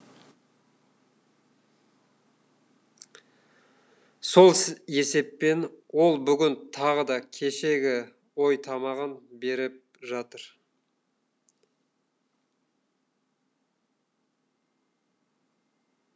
сол есеппен ол бүгін тағы да кешегі ойтамағын беріп жатыр